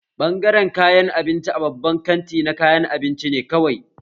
Bangaren kayan abinci a babban kanti na kayan abinci ne kawai